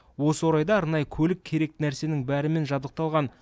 осы орайда арнайы көлік керекті нәрсенің бәрімен жабдықталған